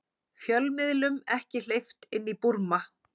Fjölmiðlum ekki hleypt inn í Búrma